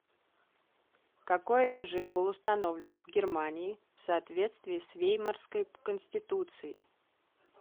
какой режим был установлен в германии в соответствии с веймарской конституцией